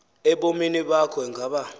ebomini bakho engaba